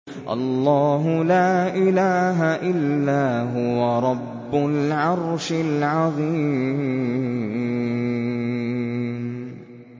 اللَّهُ لَا إِلَٰهَ إِلَّا هُوَ رَبُّ الْعَرْشِ الْعَظِيمِ ۩